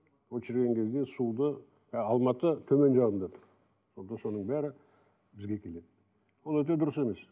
ол шіріген кезде суды ы алматы төменгі жағында тұр сонда соның бәрі бізге келеді ол өте дұрыс емес